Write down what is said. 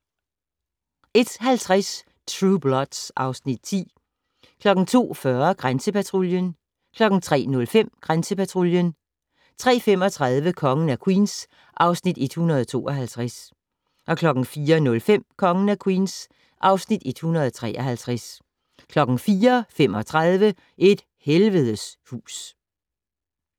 01:50: Blue Bloods (Afs. 10) 02:40: Grænsepatruljen 03:05: Grænsepatruljen 03:35: Kongen af Queens (Afs. 152) 04:05: Kongen af Queens (Afs. 153) 04:35: Et helvedes hus